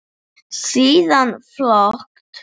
Síðan fölt.